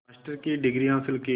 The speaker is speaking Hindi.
मास्टर की डिग्री हासिल की